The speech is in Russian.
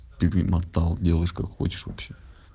перемотал далаешь как хочешь вообще